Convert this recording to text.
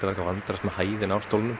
að vandræðast með hæðina á stólnum